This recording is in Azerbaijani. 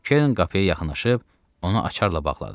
Kern qapıya yaxınlaşıb onu açarla bağladı.